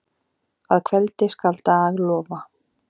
Að kveldi skal dag lofa.